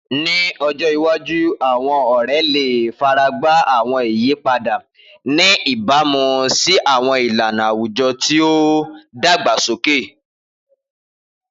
Ni ọjọ iwaju, àwọn ọrẹ le faragba àwọn iyipada, ni ibamu si àwọn ilana awujọ ti o dagbasoke.